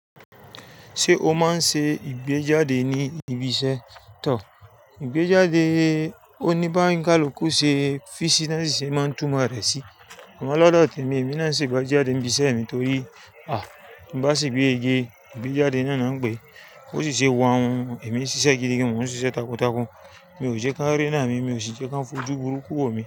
Ṣé o máa ń ṣe ìgbéjáde ní ibi iṣẹ́? Tọ̀, ìgbéjáde oníbáràkú-ìkú-ṣe fíìsi náà sì ṣe máa tún mọ rẹ̀ sí. Àmọ́ lọ́dọ̀ tèmi, èmi náà sì gbọ́ jáde ibi iṣẹ́ mi torí, à! Bí bá sì gbé ege, ìgbéjáde náà ni wọ́n ń gbé. Ó sì ṣe wọ́n ohun, èmi sì ṣiṣẹ́ gidi gan-an, wọ́n ń ṣiṣẹ́ takuntakun. Mi ò jẹ́ kí wọ́n ríná mi, mi ò sì jẹ́ kí wọ́n fojú burúkú wò mi.